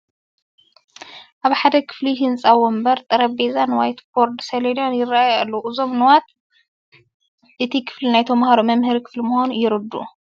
ኣብ ሓደ ክፋል ህንፃ ወንብር፣ ጠረጴዛን ዋይትቦርድ ሰሌዳን ይርአዩ ኣለዉ፡፡ እዞም ንዋት እቲ ክፍሊ ናይ ተምሃሮ መምሃሪ ክፍሊ ምዃኑ የረድኡ፡፡